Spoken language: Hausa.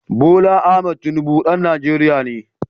Bola Ahmed Tinubu ɗan Najeriya ne